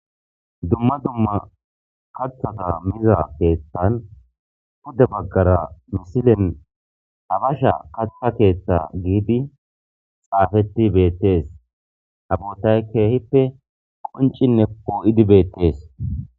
dumma dumma kathata miza keethtan huda baggara misilen habasha kaththa keeththa giidi xaafeti beettees ha bootay keehippe qoncinne poo7idi beettees